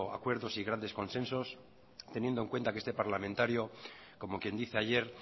acuerdos y grandes consensos teniendo en cuenta que este parlamentario como quien dice ayer